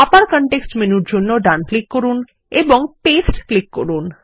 আবার কনটেক্সট মেনুর জন্য ডান ক্লিক করুন এবং পাস্তে ক্লিক করুন